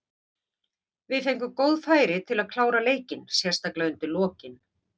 Við fengum góð færi til að klára leikinn, sérstaklega undir lokin.